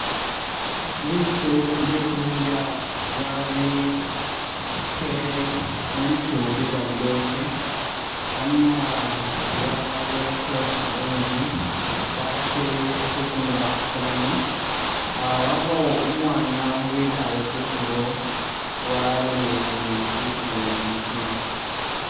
Bitu bye kudya babitele mu litu lye gamadote amala baboyako kawuzi baketele akutu nga ku saanu aah wabawo umwaana wikaale kutulo walolelele bitu binokina.